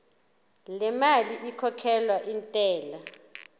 lemali ekhokhelwa intela